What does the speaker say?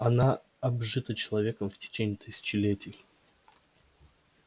она обжита человеком в течение тысячелетий